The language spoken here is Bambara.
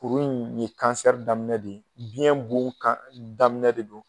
Kuru in ye kansɛri daminɛ de ye, biyɛn bon kan daminɛ de don.